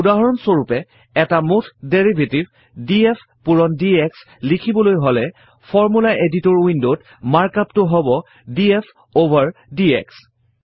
উদাহৰণ স্বৰূপে এটা মুঠ ডেৰিভেটিভ ডিএফ পূৰণ ডিএক্স লিখিবলৈ হলে ফৰ্মুলা এডিটৰ Window ত মাৰ্ক আপ টো হব ডিএফ অভাৰ ডিএক্স